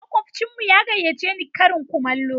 Makwabcinmu ya gayyace ni karin kumallo.